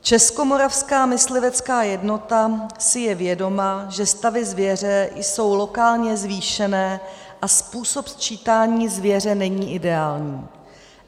Českomoravská myslivecká jednota si je vědoma, že stavy zvěře jsou lokálně zvýšené a způsob sčítání zvěře není ideální.